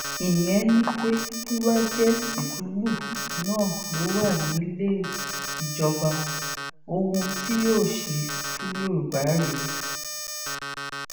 ìyẹn ni pé tó bá jẹ tìtúbù náà ló wà nílé ìjọba ohun tí yóò ṣe fún yorùbá rèé